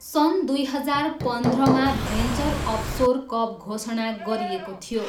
सन् दुई हजार पन्ध्रमा भेन्चर अफसोर कप घोषणा गरिएको थियो।